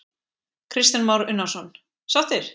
Kristján Már Unnarsson: Sáttir?